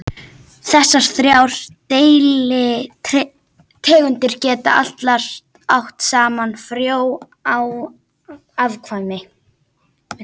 Þessar þrjár deilitegundir geta allar átt saman frjó afkvæmi.